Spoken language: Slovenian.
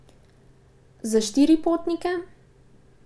Za štiri potnike?